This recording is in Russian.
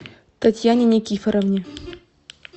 татьяне никифоровне